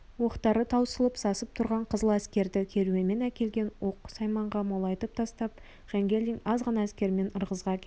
оқтары таусылып сасып тұрған қызыл әскерді керуенмен әкелген оқ-сайманға молайтып тастап жангелдин аз ғана әскермен ырғызға келеді